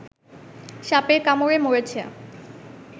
সাপের কামড়ে মরেছে